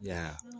Ya